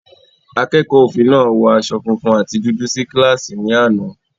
Akẹ́kọ̀ọ́ òfin náà wọ aṣọ funfun àti dúdú sí kíláàsì ní àná.